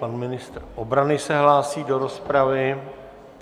Pan ministr obrany se hlásí do rozpravy.